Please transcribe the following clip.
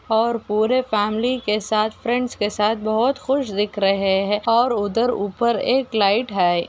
और पुरे फैमली के साथ फ्रेंड्स के साथ बहुत खुस दिख रहे है और उधर ऊपर एक लाइट है।